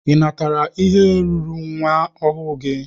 Ị natara ihe ruuru nwa ọhụụ gị?